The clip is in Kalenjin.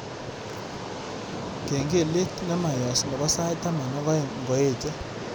Kengelet nemayoos nebo sait taman ak aeng ngoeche